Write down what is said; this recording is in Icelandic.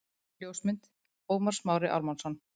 Ljósmynd: Ómar Smári Ármannsson